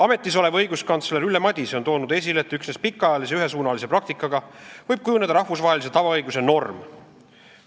Ametis olev õiguskantsler Ülle Madise on toonud esile, et üksnes pikaajalise ühesuunalise praktikaga võib kujuneda rahvusvahelise tavaõiguse norm.